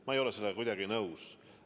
Ma ei ole sellega kuidagi nõus.